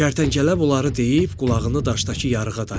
Kərtənkələ bunları deyib qulağını daşdakı yarığa dayadı.